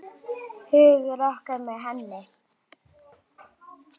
Hugur okkar er með henni.